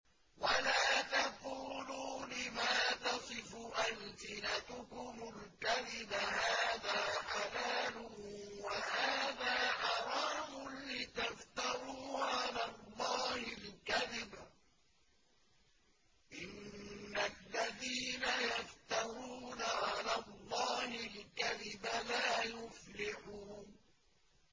وَلَا تَقُولُوا لِمَا تَصِفُ أَلْسِنَتُكُمُ الْكَذِبَ هَٰذَا حَلَالٌ وَهَٰذَا حَرَامٌ لِّتَفْتَرُوا عَلَى اللَّهِ الْكَذِبَ ۚ إِنَّ الَّذِينَ يَفْتَرُونَ عَلَى اللَّهِ الْكَذِبَ لَا يُفْلِحُونَ